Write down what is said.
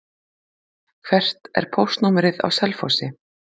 Hvert er póstnúmerið á Selfossi?